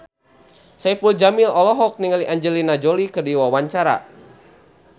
Saipul Jamil olohok ningali Angelina Jolie keur diwawancara